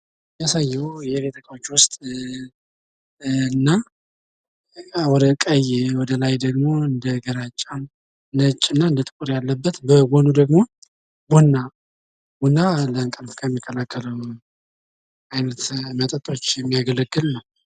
ይህ የሚያሳየዉ የቤት እቃወች ዉስጥ እና ወደ ቀይ ወደላይ ደሞ እንደ ግራጫም፣ ነጭ እና ጥቁር ያለበት ፤ በጎኑ ደሞ ቡና ፤ ቡና ለንቅልፍ ከሚከለክሉ አይነት መጠጦች የሚያገለግል ነው።